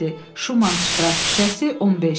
Şuman Ştras küçəsi 15.